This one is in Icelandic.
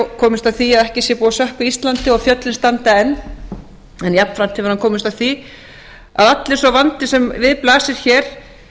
komist að því að ekki sé búið að sökkva íslandi og fjöllin standa enn en jafnframt hefur hann komist að því að allur sá vandi sem við blasir hér